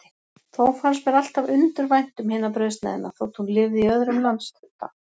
Þó fannst mér alltaf undur vænt um hina brauðsneiðina, þótt hún lifði í öðrum landshluta.